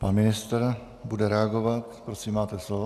Pan ministr bude reagovat. Prosím, máte slovo.